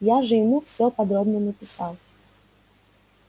я же ему все подробно написал